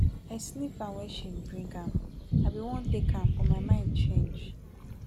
i sniff am wen she bring i be wan take am but my mind change.